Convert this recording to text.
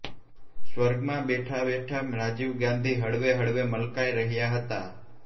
સ્વર્ગમાં બેઠાં બેઠાં રાજીવ ગાંધી હળવે હળવે મલકાઈ રહ્યા હતા